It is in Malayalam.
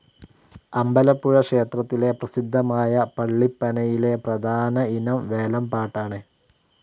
അമ്പലപ്പുഴ ക്ഷേത്രത്തിലെ പ്രസിദ്ധമായ പള്ളിപ്പനയിലെ പ്രധാന ഇനം വേലൻപാട്ടാണ്.